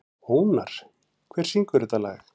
Ónar, hver syngur þetta lag?